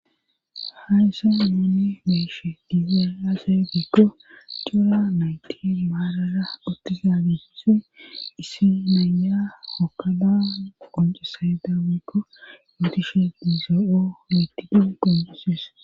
hayssa nuni be'eshe diizay aze gekko cora nayti maarara uttiza gifisoy issi nayya hokadaan qoncesayda wiikko mootishe dizoo7o yeettidin qonuses